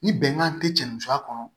Ni bɛnkan te cɛ ni musoya kɔnɔ